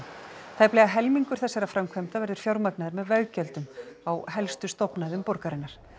tæplega helmingur þessara framkvæmda verður fjármagnaður með veggjöldum á helstu stofnæðum borgarinnar